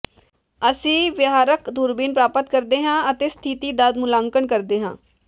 ਅਸੀਂ ਵਿਹਾਰਕ ਦੂਰਬੀਨ ਪ੍ਰਾਪਤ ਕਰਦੇ ਹਾਂ ਅਤੇ ਸਥਿਤੀ ਦਾ ਮੁਲਾਂਕਣ ਕਰਦੇ ਹਾਂ